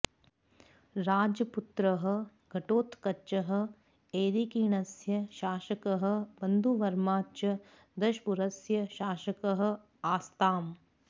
राजपुत्रः घटोत्कचः ऐरिकीणस्य शासकः बन्धुवर्मा च दशपुरस्य शासकः आस्ताम्